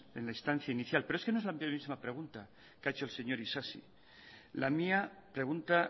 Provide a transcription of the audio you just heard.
en la instancia inicial pero es que no es la misma pregunta que ha hecho el señor isasi la mía pregunta